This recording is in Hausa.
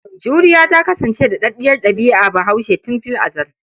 Juriya ta kasance daɗaɗɗiyar ɗabi'ar Bahaushe tun fil azal.